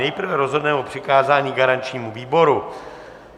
Nejprve rozhodneme o přikázání garančnímu výboru.